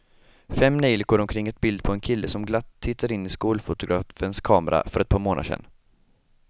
Fem neljikor omkring ett bild på en kille som glatt tittade in i skolfotografens kamera för ett par månader sedan.